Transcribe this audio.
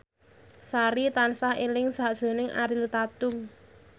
Sari tansah eling sakjroning Ariel Tatum